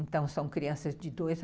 Então, são crianças de dois